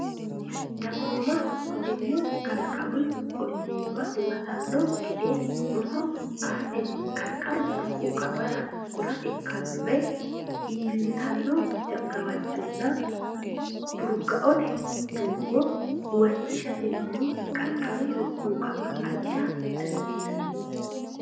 Dagoomaho tenne kalaqamu olliimma huwatanno gede roso aatenni qarqaru burquuqamara kora ikkinore iillitanno gawajjonna furgaote doogga huwachishatenni qarqaru burquuqama ajisha dandiinanni.